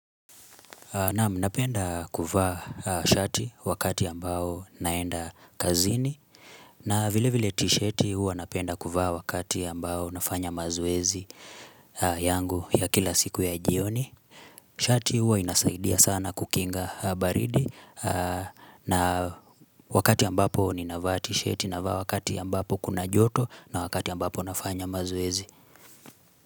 Naam napenda kuvaa shati wakati ambao naenda kazini na vile vile tishati huwa napenda kuvaa wakati ambao nafanya mazoezi yangu ya kila siku ya jioni Shati huwa inasaidia sana kukinga baridi na wakati ambapo ninavaa tishati navaa wakati ambapo kuna joto na wakati ambapo nafanya mazoezi.